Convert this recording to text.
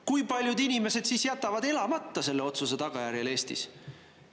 Kui paljud inimesed siis jätavad elamata selle otsuse tagajärjel Eestis?